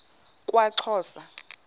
kwaxhosa